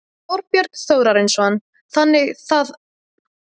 Þorbjörn Þórðarson: Þannig að má búast við að það hækki aftur í lok sumars?